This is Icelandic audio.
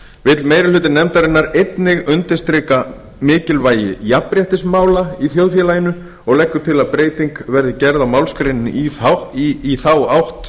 vill meiri hluti nefndarinnar einnig undirstrika mikilvægi jafnréttismála í þjóðfélaginu og leggur til að breyting verði gerð á málsgreininni í þá átt